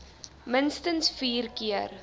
minstens vier keer